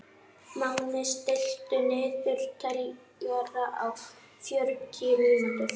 Máni, stilltu niðurteljara á fjörutíu mínútur.